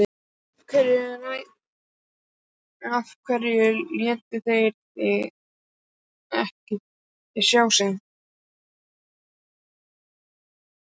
Af hverju létu þeir ekki sjá sig?